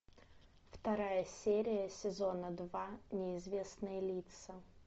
вторая серия сезона два неизвестные лица